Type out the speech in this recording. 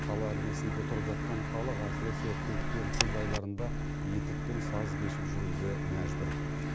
қала іргесінде тұрып жатқан халық әсіресе көктем күз айларында етікпен саз кешіп жүруге мәжбүр